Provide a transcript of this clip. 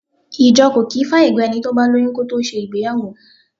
Ìjọ kò kì í fàyègba ẹni bá lóyún kó tó ṣe ìgbéyàwó.